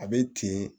A bɛ ten